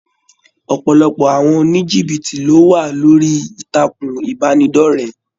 ọpọlọpọ àwọn onijibiti lo wà lórí ìtàkùn ìbánidọ̀rẹ̀.